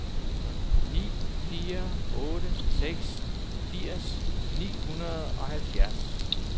ni fire otte seks firs ni hundrede og halvfjerds